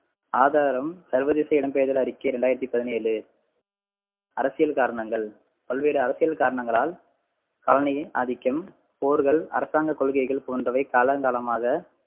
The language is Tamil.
ஆதாரம் சர்வதேச இடம்பெயர்தல் அறிக்கை இரண்டாயிரத்து பதினேழு அரசியல் காரணங்கள் பல்வேறு அரசியல் காரணங்களால் ஆதிக்கம், போர்கள், அரசாங்க கொள்கைகள் போன்றவை காலங்காலமாக